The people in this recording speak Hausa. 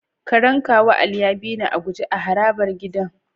Karen kawu Ali ya bini a guje a harabar gidan.